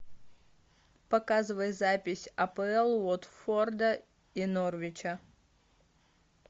показывай запись апл уотфорда и норвича